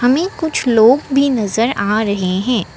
हमें कुछ लोग भी नजर आ रहे हैं।